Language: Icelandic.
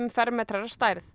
fermetrar að stærð